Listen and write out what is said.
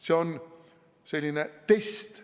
See on selline test.